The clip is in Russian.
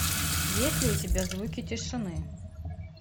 есть ли у тебя звуки тишины